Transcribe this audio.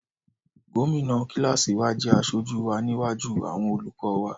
Gómìnà kíláàsì wa jẹ́ aṣojú wa níwájú àwọn olùkọ́ wa.